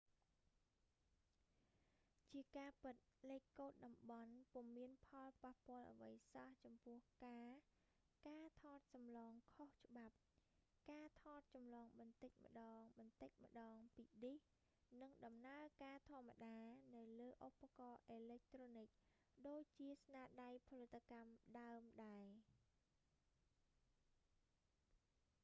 ជាការពិត លេខកូដតំបន់ ពុំមានផលប៉ះពាល់អ្វីសោះចំពោះការការថតចម្លងខុសច្បាប់ ការថតចម្លងបន្តិចម្តងៗពីឌីស នឹងដំណើរការធម្មតា នៅលើឧបករណ៍អេឡិចត្រូនិក ដូចជាស្នាដៃផលិតកម្មដើមដែរ